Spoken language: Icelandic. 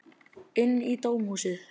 Inn í dómhúsið.